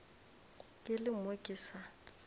ke le mo ke sa